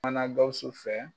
Kumana Gawusu fɛ